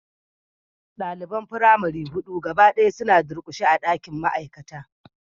Daliban firamare hudu gaba daya suna durkushe a dakin ma'aikata